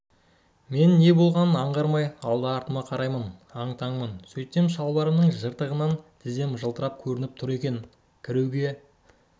мен не болғанын аңғармай алды-артыма қараймын аң-таңмын сөйтсем шалбарымның жыртығынан тізем жылтырап көрініп тұр екен кіруге